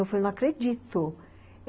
Eu falei, não acredito.